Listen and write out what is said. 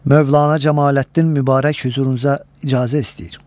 Mövlanə Cəmaləddin Mübarək hüzurunuza icazə istəyir.